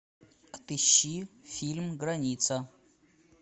отыщи фильм граница